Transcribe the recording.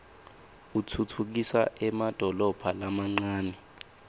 utfutfukisa emadolobha lamancane